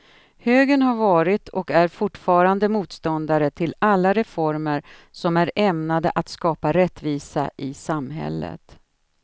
Högern har varit och är fortfarande motståndare till alla reformer som är ämnade att skapa rättvisa i samhället.